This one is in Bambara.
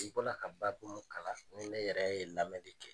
I bɔla ka baabu min kalan, ni ne yɛrɛ ye lamɛn kɛ